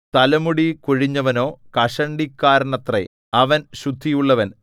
തലമുടി കൊഴിഞ്ഞവനോ കഷണ്ടിക്കാരനത്രേ അവൻ ശുദ്ധിയുള്ളവൻ